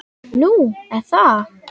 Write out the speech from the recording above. Nú er það?